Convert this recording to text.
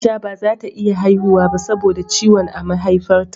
Aisha bazata iya haihuwa ba sabo da ciwon a Maihaifar ta